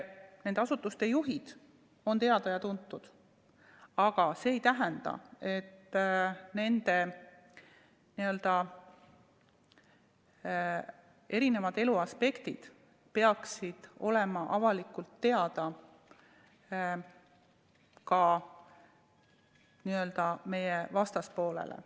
Nende asutuste juhid on teada ja tuntud, aga see ei tähenda, et nende elu eri aspektid peaksid olema avalikult teada ka meie vastaspoolele.